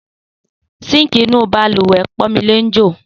Síǹkì inú bàlùwẹ̀ Pọ́nmilé ń jò